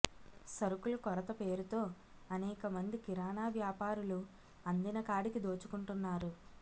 సరుకుల కొరత పేరుతో అనేక మంది కిరాణా వ్యాపారులు అందినకాడికి దోచుకుంటున్నారు